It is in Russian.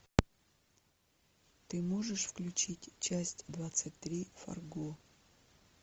ты можешь включить часть двадцать три фарго